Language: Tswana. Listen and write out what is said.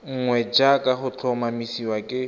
nngwe jaaka go tlhomamisiwa ke